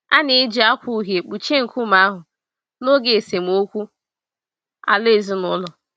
A na-eji akwa uhie kpuchie nkume ahụ na n'oge esemokwu ala ezinụlọ.